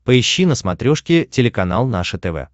поищи на смотрешке телеканал наше тв